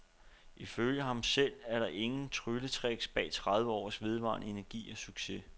I følge ham selv er der ingen trylletricks bag tredive års vedvarende energi og succes.